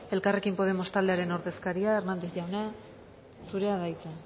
elkarrekin podemos taldearen ordezkari hernández jauna zurea da hitza